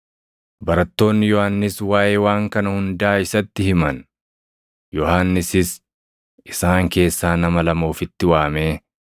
Barattoonni Yohannis waaʼee waan kana hundaa isatti himan. Yohannisis isaan keessaa nama lama ofitti waamee,